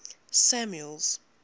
samuel's